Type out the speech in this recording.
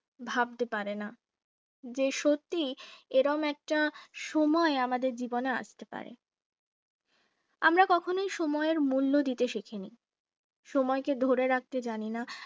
ভাবতে পারেনা যে সত্যি এরকম একটা সময় আমাদের জীবনে আসতে পারে আমরা কখনো সময়ের মূল্য দিতে শিখিনি সময়কে ধরে রাখতে জানে না।